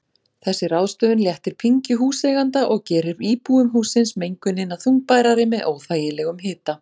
Þessi ráðstöfun léttir pyngju húseiganda og gerir íbúum hússins mengunina þungbærari með óþægilegum hita.